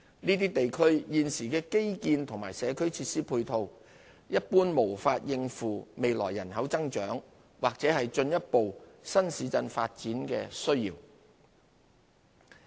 這些地區現時的基建和社區設施配套，一般無法應付未來人口增長或進一步新市鎮發展的需要。